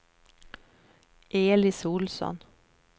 Elis Ohlsson